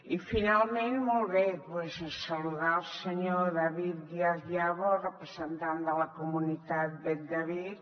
i finalment molt bé doncs saludar el senyor david díaz yago representant de la comunitat bet david